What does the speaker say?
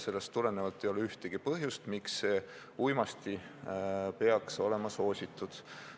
Sellest tulenevalt ei ole ühtegi põhjust, miks see uimasti peaks olema soositud.